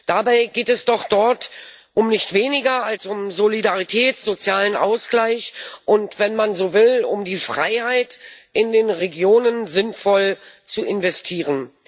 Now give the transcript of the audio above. Dabei geht es doch dort um nicht weniger als um Solidarität, sozialen Ausgleich und wenn man so will um die Freiheit, in den Regionen sinnvoll zu investieren.